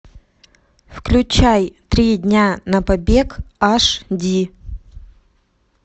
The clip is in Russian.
включай три дня на побег аш ди